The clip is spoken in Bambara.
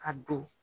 Ka don